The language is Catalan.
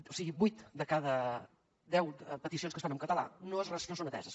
o sigui vuit de cada deu peticions que es fan en català no són ateses